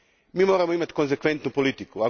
Mi moramo imati konsekventnu politiku.